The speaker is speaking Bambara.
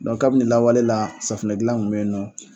Dɔnku kabini lawale la, safunɛ dilan tun bɛ yen nɔ.